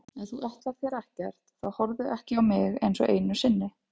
Ef þú ætlar þér ekkert þá horfðu ekki á mig einsog einu sinni.